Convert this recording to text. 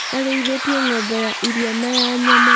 areithitie ngombe ya ĩrĩa na ya nyama